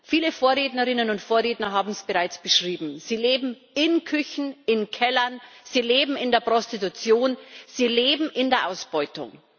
Viele Vorrednerinnen und Vorredner haben es bereits beschrieben Sie leben in Küchen, in Kellern, sie leben in der Prostitution, sie leben in der Ausbeutung.